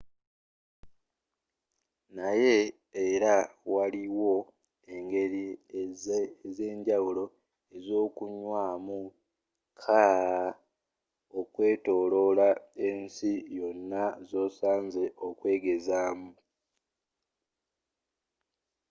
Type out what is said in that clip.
naye era waliwo engeri ezenjawulo ezokunywamu kkaaa okwetoloola ensi yonna zosaanye okwegezaamu